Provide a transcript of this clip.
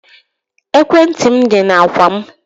Ekwentị m dị na ákwà m